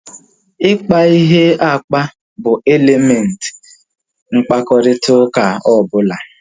Ikpa ihe akpa bụ elementị mkparịta ụka ọbụla